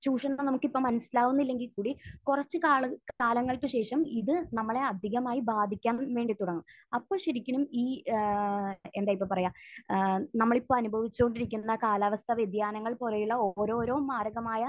ചൂഷണങ്ങൾ നമുക്ക് ഇപ്പോൾ മനസ്സിലാവുന്നില്ലെങ്കിൽ കൂടി കുറച്ച് കാലം കാലങ്ങൾക്ക് ശേഷം ഇത് നമ്മളെ അധികമായി ബാധിക്കാൻ വേണ്ടി തുടങ്ങും. അപ്പോൾ ശരിക്കും ഈ ഏഹ് എന്താ ഇപ്പോൾ പറയാ ഏഹ് നമ്മൾ ഇപ്പോൾ അനുഭവിച്ചുകൊണ്ടിരിക്കുന്ന കാലാവസ്ഥാവ്യതിയാനങ്ങൾ പോലെയുള്ള ഓരോരോ മാരകമായ